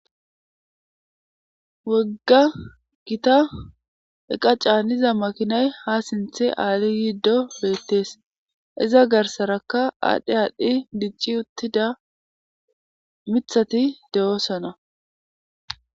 Wogga giththa gaxan dizza makinay ha sinthe yide bethess. Izza garsarakka adhi adhi dicuthida mithathi deosonna.